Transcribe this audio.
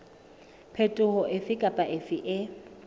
phetoho efe kapa efe e